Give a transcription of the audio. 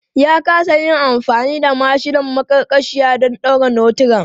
Ya kasa yin amfani da mashinan maƙarƙashiya don ɗaure notiran.